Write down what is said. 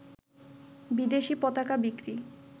বিদেশী পতাকা বিক্রি